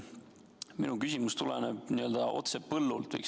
Minu küsimus tuleb, võiks öelda, otse põllult.